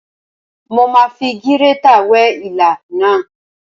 Mo ma fi gírétà wẹ́ ilá náà.